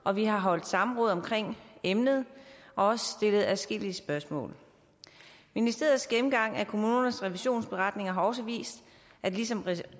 og vi har holdt samråd om emnet og også stillet adskillige spørgsmål ministeriets gennemgang af kommunernes revisionsberetninger har også vist ligesom